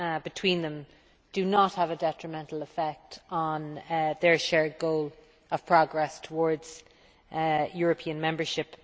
between them do not have a detrimental effect on their shared goal of progress towards European membership.